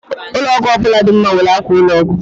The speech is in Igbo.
ụlọ ọgwụ ọ bụla dị mma nwere akwa ụlọ ọgwụ